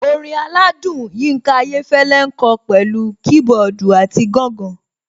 Orin aládùn Yinka Ayéfẹ́lẹ́ ń kọ pẹ̀lú kiboodu àti gangan.